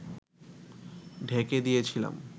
ঢেকে দিয়েছিলাম